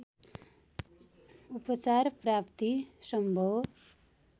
उपचार प्राप्ति सम्भव